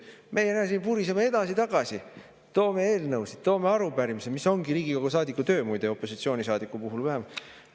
Meie, näe, siin vuriseme edasi-tagasi, toome eelnõusid, toome arupärimisi, mis ongi Riigikogu saadiku töö, muide, opositsioonisaadiku puhul vähemalt.